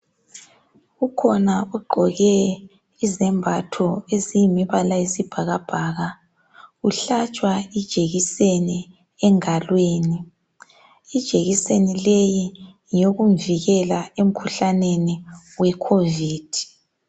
Kukhona ogqoke izembatho eziyisibhakabhaka uhlatshwa ingalo ijekiseni . Ijekiseni leyi ngeyokumvikela emkhuhlaneni we khovidi.